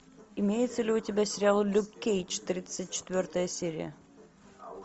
имеется ли у тебя сериал люк кейдж тридцать четвертая серия